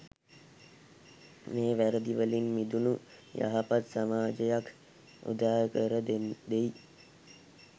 මෙම වැරැදිවලින් මිදුණු යහපත් සමාජයක් උදා කර දෙයි.